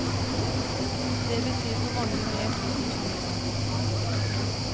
Det betyr for mange mer tid til familien.